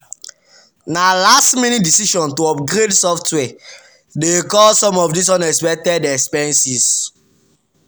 na last-minute decision to upgrade software dey cause some of these unexpected expenses.